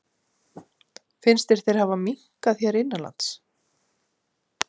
Finnst þér þeir hafa minnkað hér innanlands?